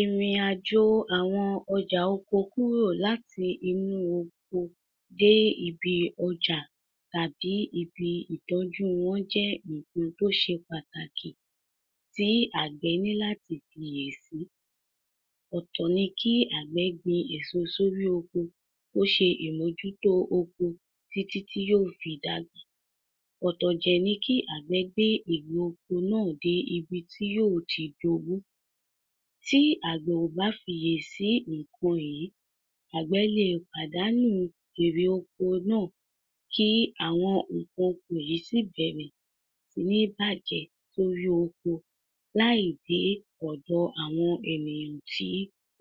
Ìrìn-àjò àwọn ọjà oko kúrò láti inú oko dé ibi ọjà tàbí ibi ìtọ́jú wọn jẹ́ nǹkan tó ṣe pàtàkì tí àgbẹ̀ nílá ti fìyè sí. Ọ̀tọ̀ ni kí àgbẹ̀ gbin èso sórí oko kó ṣe ìmójútó oko títí tí yóó fi dàgbà. Ọ̀tọ̀ dẹ̀ ní kí àgbẹ̀ gbé èrè oko náà dé ibi tí yóó ti d’owó. Tí àgbẹ̀ kò bá fìye sí ǹkan yìí, àgbẹ̀ lèé pàdánù èrè oko náà kí àwọn nńkan oko yìí sì bẹ̀rẹ̀ síní bàjẹ́ lórí oko láì dé ọ̀dọ̀ àwọn ènìyàn tí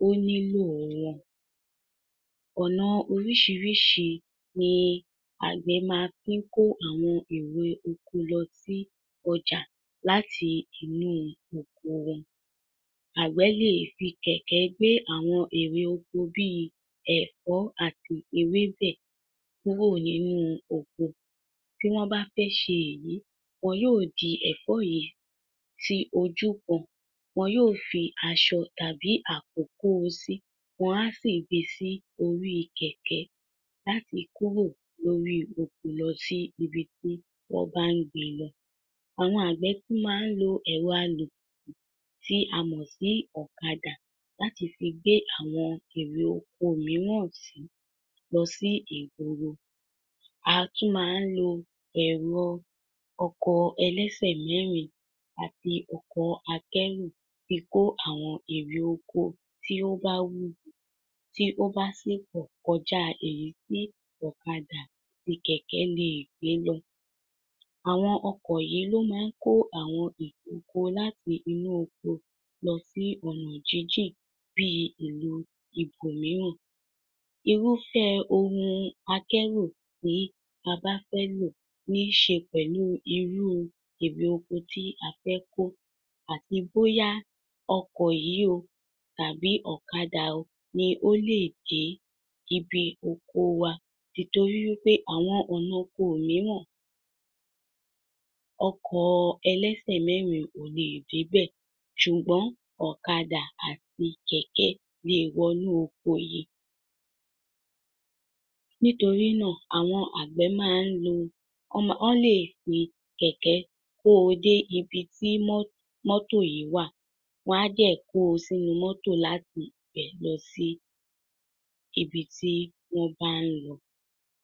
ó nílò wọn. Ọ̀nà oríṣìíríṣìí ni àgbẹ̀ máa ń fi ń kó àwọn èrè oko lọ sí ọjà láti inú oko wọn. Àgbẹ̀ lè fi kẹ̀kẹ́ gbé àwọn èrè oko bíi ẹ̀fọ́ àti ewébẹ̀ kúrò nínú oko. Tí wọ́n bá fẹ́ ṣe èyí, wọn yóò di ẹ̀fọ́ yẹn sí ojú kan, wọn yóò fi aṣọ tàbí àpò kóo sí, wọn á sì gbesí oríi kẹ̀kẹ́ láti kúrò lórí oko lọ sí ibi tí wọ́n bá ń gbé e lọ. Àwọn àgbẹ̀ tún máa ń lo ẹ̀rọ alùpùpù tí a mọ̀ sí ọ̀kadà láti fi gbé àwọn èrè oko miíràn lọ sí ìgboro. A tún máa ń lo ẹ̀rọ ọkọ̀ ẹlẹ́sẹ̀mẹ́rin àti ọkọ̀ akẹ́rù fi kó àwọn èrè oko tí ó bá wù, tí ó bá sì pọ̀ kọjá èyí tí ọ̀kadà àti kẹ̀kẹ́ lè gbé lọ. Àwọn ọkọ̀ yìí ló máa ń kó àwọn èrè oko láti inú oko lọ sí ọ̀nà jínjìn bí ìlú ibòmíràn. Irúfẹ́ ohun akẹ́rù tí a bá fẹ́ lò ní ṣe pẹ̀lú irú èrè oko tí a fẹ́ kó, àti bóyá ọkọ̀ yìí o tàbí ọ̀kadà o ní ò lè dé ibi oko wa. Nítorí wípé àwọn ọ̀nà oko miíràn, ọkọ̀ ẹlẹ́sẹ̀mẹ́rin ò lè dé bẹ̀, ṣùgbọ́n ọ̀kàdà àti kẹ̀kẹ́ lè wọ̀nú oko yẹn. Nítorí náà, àwọn àgbẹ̀ máa ń lò, wọ́n lè fi kẹ̀kẹ́ kóo dé ibi tí mọ́tò yìí wà, wọ́n á dẹ̀ kóo sínú mọ́tò láti ibẹ̀ lọ sí ibi tí wọ́n bá ń lọ.